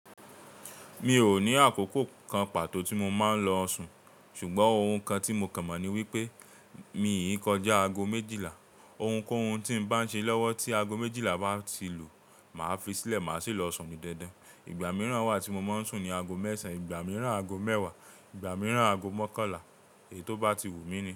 Mi ò ní àkókò kan pàtó tí mo máa ń lọ sun ṣùgbọ́n ohun kan tí mo kàn mọ̀ ni wípé mi yìí kọjá aago méjìlá. Ohun kóhun tí ń bá ń ṣe lọ́wọ́ tí aago méjìlá bá ti lù, màá fi sílẹ̀, màá sì lọ sun ní dandan. Ìgbà mìíràn wà tí mo máa ń sùn ní aago mẹ́sàn, ìgbà mìíràn aago mẹ́wàá, ìgbà mìíràn aago mọ́kànlá èyí tó bá ti wù mí ni.